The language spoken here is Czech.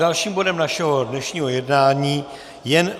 Dalším bodem našeho dnešního jednání je